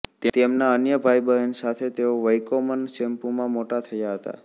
તેમના અન્ય ભાઈબહેન સાથે તેઓ વૈકોમન ચેમ્પુમાં મોટા થયા હતા